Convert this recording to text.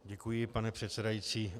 Děkuji, pane předsedající.